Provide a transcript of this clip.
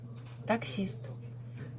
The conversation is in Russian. таксист